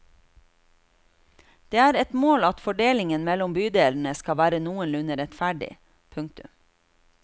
Det er et mål at fordelingen mellom bydelene skal være noenlunde rettferdig. punktum